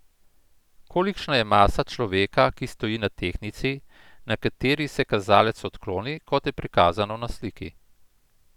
Kolikšna je masa človeka, ki stoji na tehtnici, na kateri se kazalec odkloni, kot je prikazano na sliki?